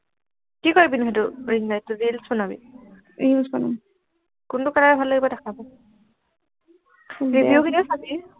কি কৰিব নো সেইটো ring light টো reels বনাবি reels বনাম কোনটো color ভাল লাগিব দেখা review খিনি চাবি